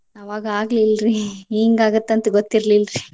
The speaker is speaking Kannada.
ಆವಾಗ್ ಆಗ್ಲಿಲ್ರಿ ಹಿಂಗ್ ಆಗತ್ತಂತ ಗೊತ್ತಿರ್ಲಿಲ್ರಿ.